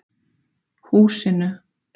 Húsinu